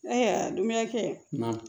Ayiwa dumunikɛ